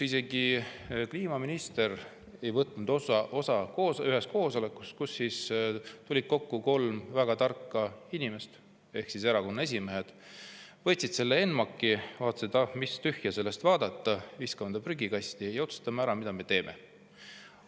Isegi kliimaminister ei võtnud osa ühest koosolekust, kuhu tuli kokku kolm väga tarka inimest ehk erakonna esimeest, kes võtsid selle ENMAK‑i, vaatasid, et ah, mis tühja sellest, viskame ta prügikasti ja otsustame ära, mida me teeme.